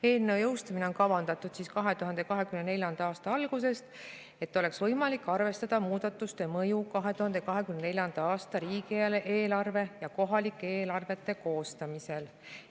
Eelnõu jõustumine on kavandatud 2024. aasta algusesse, et oleks võimalik arvestada muudatuste mõju 2024. aasta riigieelarve ja kohalike eelarvete koostamisel.